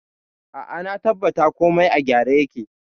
A'a, na tabbata komai a gyara yake.